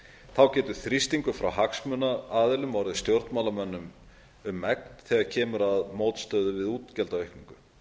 þá getur þrýstingur frá hagsmunaaðilum orðið stjórnmálamönnum um megn þegar kemur að mótstöðu við útgjaldaaukningu